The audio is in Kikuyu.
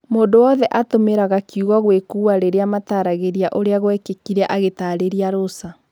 Mũndũ wothe atumiraga kiugo "Gũĩkũa" rĩrĩa mataragĩria ũrĩa gũekĩkire agĩtarĩria Rosa.